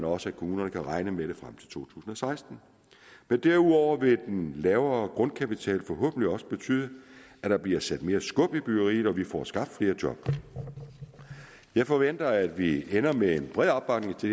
også at kommunerne kan regne med det frem til to tusind og seksten derudover vil den lavere grundkapital forhåbentlig også betyde at der bliver sat mere skub i byggeriet og at vi får skabt flere job jeg forventer at vi ender med en bred opbakning til